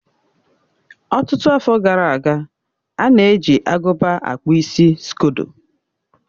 Ọtụtụ afọ gara aga, a na-eji agụba akpụ isi skodo.